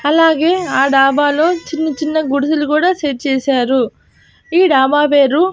అలాగే ఆ డాబా లో చిన్న చిన్న గుడిసెలు కూడా సెట్ చేశారు. ఈ డాబా పేరు --